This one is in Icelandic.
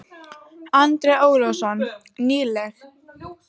Andri Ólafsson: Nýleg?